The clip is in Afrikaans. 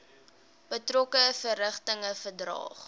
betrokke verrigtinge verdaag